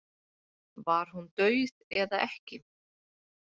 Var hún dauð eða ekki?